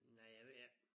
Nej jeg ved ikke